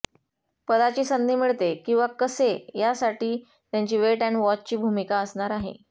पदाची संधी मिळते किंवा कसे यासाठी त्यांची वेट अँड वॉचची भूमिका असणार आहे